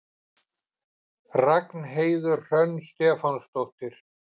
Ragnheiður Hrönn Stefánsdóttir.